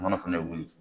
A mana fɛnɛ wuli